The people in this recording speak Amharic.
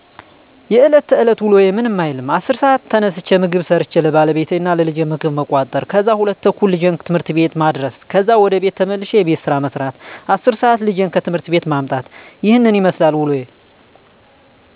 የለት ተለት ውሎዬ ምንም አይልም። 11:00 ሰዓት ተነስቼ ምግብ ሠርቸ ለባለቤቴ እና ለልጄ ምግብ መቋጠር ከዛ 2:30 ልጄን ት/ት ቤት ማድረስ ከዛ ወደ ቤት ተመልሼ የቤት ስራ መስራት 10:00 ልጄን ከት/ት ቤት ማምጣት ይህንን ይመስላል ውሎዬ።